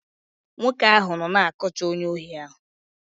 Nwoke ahụ nọ na-akọcha onye ohi ahụ.